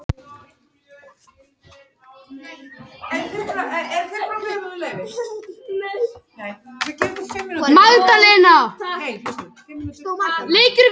Þá endurbætti hann prentsvertuna þannig að hún loddi betur við letrið.